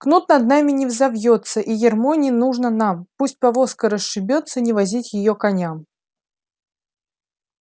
кнут над нами не взовьётся и ярмо не нужно нам пусть повозка расшибётся не возить её коням